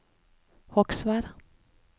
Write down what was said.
Hogsvær